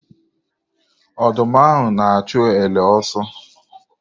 Ọdụm ahụ na-achụ ele ọsọ.